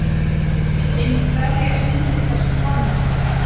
Hann vill einmitt berjast undir þessum formerkjum.